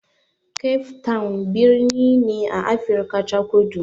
Cape town birni ne a Afrika ta Kudu.